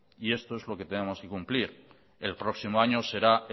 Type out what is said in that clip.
y esto es lo que tenemos que cumplir el próximo año será